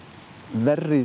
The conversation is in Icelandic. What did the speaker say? verri